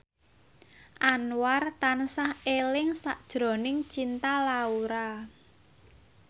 Anwar tansah eling sakjroning Cinta Laura